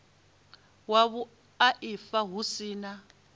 wa vhuaifa hu si na